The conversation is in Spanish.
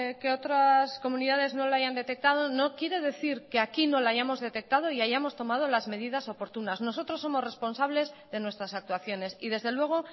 que otras comunidades no la hayan detectado no quiere decir que aquí no la hayamos detectado y hayamos tomado las medidas oportunas nosotros somos responsables de nuestras actuaciones y desde luego